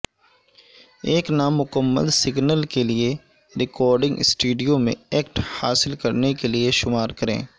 ایک نامکمل سگنل کے لئے ریکارڈنگ سٹوڈیو میں ایکٹ حاصل کرنے کے لئے شمار کریں